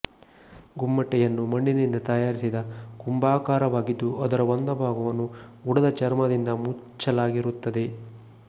ಗುಮ್ಮಟೆಯನ್ನು ಮಣ್ಣಿನಿಂದ ತಯಾರಿಸಿದ ಕುಂಭಾಕಾರವಾಗಿದ್ದು ಅದರ ಒಂದು ಭಾಗವನ್ನು ಉಡದ ಚರ್ಮದಿಂದ ಮುಚ್ಚಲಾಗಿರುತ್ತದೆ